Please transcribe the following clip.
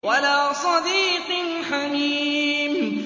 وَلَا صَدِيقٍ حَمِيمٍ